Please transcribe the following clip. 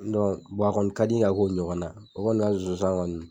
a kɔni ka di n ye ka k'o ɲɔgɔn na o kɔni ka zonzan